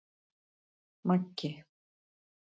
Maggi